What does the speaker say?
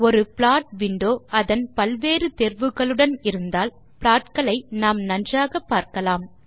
ஒரு plot window அதன் பல்வித தேர்வுகளுடன் இருந்தால் ப்லாட் களை நாம் நன்றாக பார்க்கலாம்